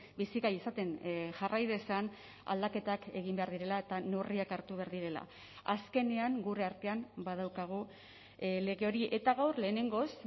bizigai izaten jarrai dezan aldaketak egin behar direla eta neurriak hartu behar direla azkenean gure artean badaukagu lege hori eta gaur lehenengoz